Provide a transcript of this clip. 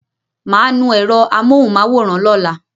Màá nu ẹ̀ro àmóhùn-máwòrán lọ́la